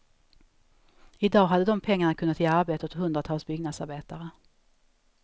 I dag hade de pengarna kunnat ge arbete åt hundratals byggnadsarbetare.